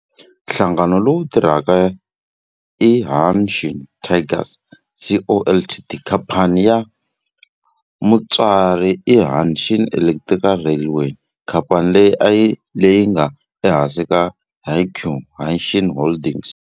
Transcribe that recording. Nhlangano lowu tirhaka i Hanshin Tigers Co., Ltd. Khamphani ya mutswari i Hanshin Electric Railway, khamphani leyi nga ehansi ka Hankyu Hanshin Holdings.